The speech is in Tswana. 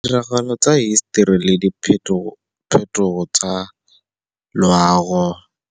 Tiragalo tsa hisetori le diphetogo tsa loago,